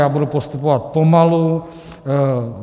Já budu postupovat pomalu.